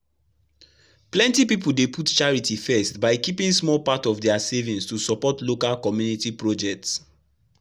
plenty people dey put charity first by keeping small part of their savings to support local community projects.